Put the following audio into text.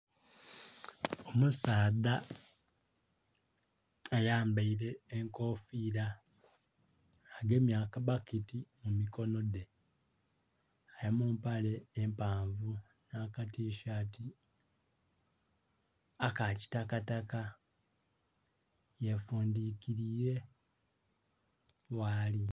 Omusaadha ayambaire enkofira agemye akabaketi mu mikonho dhe ali mu mpale mpavu na katishati aka kitakataka, yefundikilire ghaali.